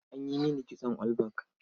An yi mini kitson all back.